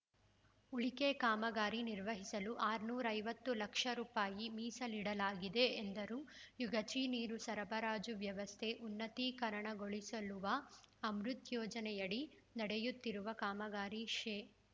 ಉಳಿಕೆ ಕಾಮಗಾರಿ ನಿರ್ವಹಿಸಲು ಆರುನೂರ ಐವತ್ತು ಲಕ್ಷ ರುಪಾಯಿ ಮೀಸಲಿಡಲಾಗಿದೆ ಎಂದರು ಯಗಚಿ ನೀರು ಸರಬರಾಜು ವ್ಯವಸ್ಥೆ ಉನ್ನತೀಕರಣಗೊಳಿಸಲುವ ಅಮೃತ್‌ ಯೋಜನೆ ಯಡಿ ನಡೆಯುತ್ತಿರುವ ಕಾಮಗಾರಿ ಶೇ